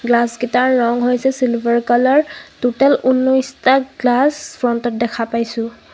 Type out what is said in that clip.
Glass কিটাৰ ৰং হৈছে চিলভাৰ কালাৰ ত'তেল ঊনৈশটা গ্লাছ ফ্ৰণ্ট ত দেখা পাইছোঁ.